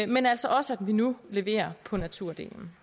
men altså også at vi nu leverer på naturdelen